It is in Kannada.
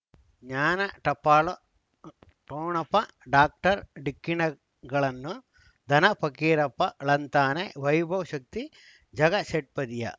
ಜ್ಞಾನ ಟಪಾಲು ಠೊಣಪ ಡಾಕ್ಟರ್ ಢಿಕ್ಕಿ ಣಗಳನು ಧನ ಫಕೀರಪ್ಪ ಳಂತಾನೆ ವೈಭವ್ ಶಕ್ತಿ ಝಗಾ ಷಟ್ಪದಿಯ